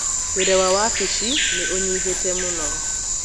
Wĩra wa wabici nĩ ũnyihĩte mũno